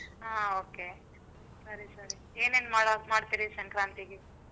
ಹ್ಮ್ okay ಸರಿ ಸರಿ. ಏನೇನ್ ಮಾಡ~ ಮಾಡ್ತೀರಿ ಸಂಕ್ರಾಂತಿಗೆ?